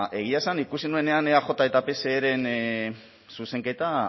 egia esan ikusi nuenean eaj eta pseren zuzenketa